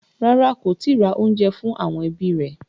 Rárá, kò tíì ra oúnjẹ fún àwọn ẹbí rẹ̀.